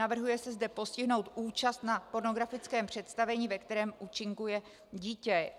Navrhuje se zde postihnout účast na pornografickém představení, ve kterém účinkuje dítě.